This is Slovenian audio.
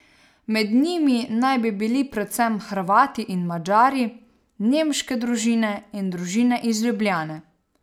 Med njimi naj bi bili predvsem Hrvati in Madžari, nemške družine in družine iz Ljubljane.